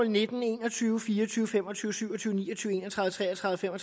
nitten en og tyve fire og tyve fem og tyve syv og tyve ni og tyve en og tredive tre og tredive fem og